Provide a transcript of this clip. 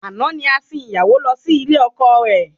Àná ni a sìn ìyàwó lọ sí ilé ọkọ rẹ